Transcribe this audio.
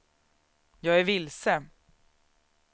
jag är vilse